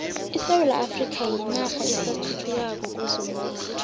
isewula afrika yinarha esathuthukako kwezomnotho